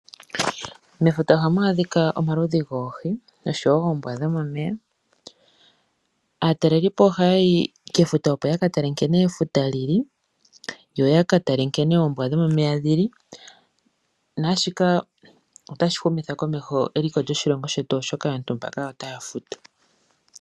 Mefuta ohamu adhika omaludhi goohi nosho wo oombwa dhomomeya. Aatalelipo ohaya yi kefuta opo ya katale nkene efuta lili yo yaka tale nkene oombwa dhomomeya dhili. Naashika otashi humitha komeho eliko lyoshilongo shetu oshoka otaya futu.